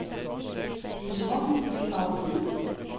Simon Michaelsen